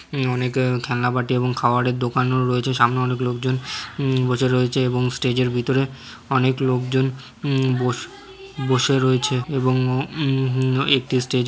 অনেক কান্না পার্টি এবং খাবারের দোকান রয়েছে সামনে অনেক লোকজন উউম বসে রয়েছে এবং স্টেজ এর ভিতরে অনেক লোক উউম বস বসে রয়েছে এবং উউম হউউম একটি স্টেজ এর --